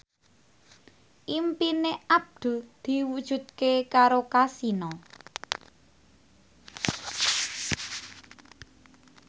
impine Abdul diwujudke karo Kasino